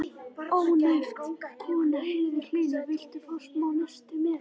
Ónefnd kona: Heyrðu Hlynur, viltu hafa smá nesti með?